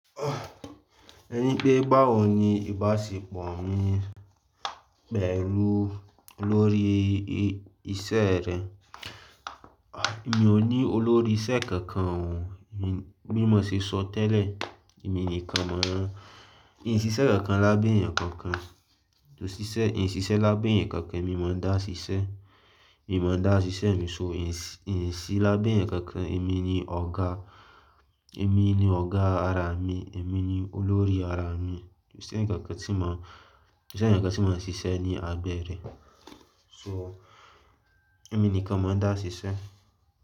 Ẹ ní pé báwo ni ìbáṣepọ̀ mi pẹ̀lú olórí iṣẹ́ rẹ? Mi ò ní olórí iṣẹ́ kankan o, bi mo se so tẹ́lẹ̀, èmi nìkan máa ń, n ṣiṣẹ́ kankan lábẹ́ ẹ̀yàn kankan. Mo ṣiṣẹ́, n ṣiṣẹ́ lábẹ́ ẹ̀yàn kankan, èmi mo ń dá ṣiṣẹ́, èmi mo ń dá ṣiṣẹ́ mi só. N ṣiṣẹ́ lábẹ́ ẹ̀yàn kankan, èmi ni ọ̀gá, èmi ni ọ̀gá ara mi, èmi ni olórí ara mi. Kò sí ẹ̀yàn kankan tí mò ń, kò sí ẹ̀yàn kankan tí mò ń ṣiṣẹ́ ní abẹ́ rẹ. So èmi nìkan mó ń dá ṣiṣẹ́